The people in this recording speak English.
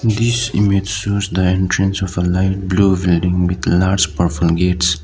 this image shows the entrance of a light blue building with large purple gates.